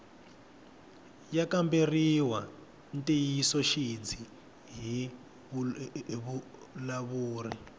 ya kamberiwa ntiyisoxidzi hi vavulavuri